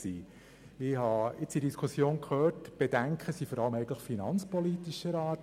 Die in der Diskussion geäusserten Bedenken waren vor allem finanzpolitischer Art.